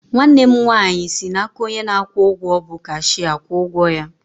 Nwanne m nwaanyị si n'aka onye na-akwụ ụgwọ bụ cashịa kwụọ ụgwọ ya